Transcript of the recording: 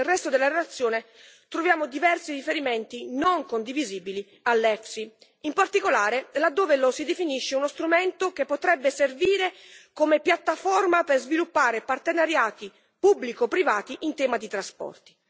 Nel resto della relazione, troviamo diversi riferimenti non condivisibili al FEIS, in particolare laddove lo si definisce uno strumento che potrebbe servire come piattaforma per sviluppare partenariati pubblico privati in tema di trasporti.